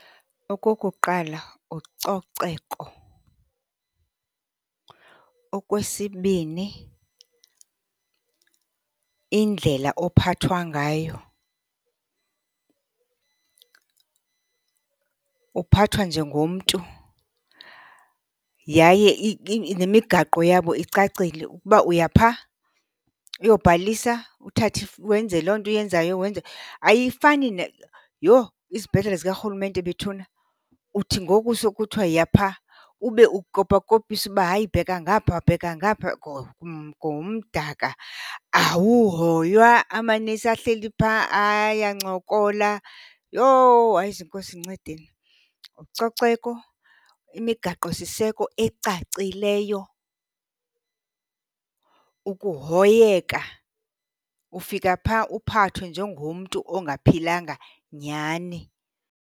Okokuqala ucoceko. Okwesibini indlela ophathwa ngayo, uphathwa njengomntu. Yaye nemigaqo yabo icacile ukuba uya phaa uyobhalisa, uthathe wenze loo nto uyenzayo wenze. Ayifani . Yho, izibhedlele zikarhulumente bethuna! Uthi ngoku sekuthiwa yiya phaa, ube ukopakopiswa uba hayi, bheka ngapha, bheka ngapha . Kumdaka, awuhoywa amanesi ahleli phaa ayancokola. Yho, hayi zinkosi, ndincedeni! Ucoceko, imigaqosiseko ecacileyo, ukuhoyeka. Ufika phaa uphathwe njengomntu ongaphilanga nyhani.